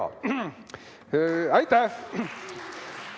Jaa-jaa!